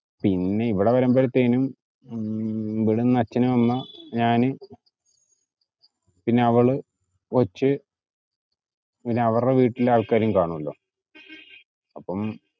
പിന്നെ ഇവിടെ വരുമ്പോഴത്തേനും, ഇവിടുന്നു അച്ഛനും അമ്മ, ഞാന് പിന്നെ അവള്, കൊച്ചു, പിന്നെ അവരുടെ വീട്ടിലെ ആൾക്കാരും കാണുവല്ലോ. അപ്പം